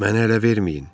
Məni ələ verməyin.